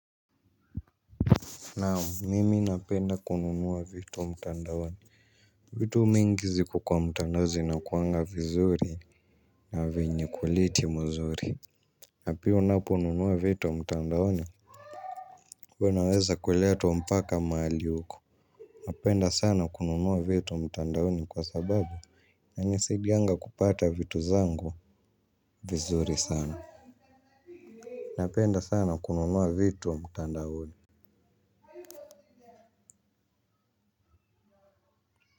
Naam, miki napenda kununua vitu mtandaoni. Vitu mingi ziko kwenye mtandao zinakuwanga vizuri na zenye ubora mzuri. Na pia unapo nunua vitu wa mtandaoni unaweza kuletwa mpaka mahali uko. Napenda sana kununuwa vitu wa mtandaone kwa sababu inanisidianga kupata vitu zangu vizuri sana. Napenda sana kununua vitu wa mtandaoni.